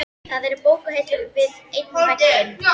Það eru bókahillur við einn vegginn.